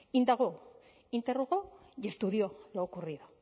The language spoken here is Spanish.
indagó interrogó y estudió lo ocurrido